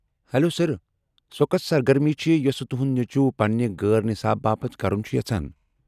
Hello, sir, سۄ كۄس سرگرمی چھِ یۄسہٕ تُہُند نیچُو پنٛنہِ غٲر نِصاب باپت كرُن چُھ یژھان ؟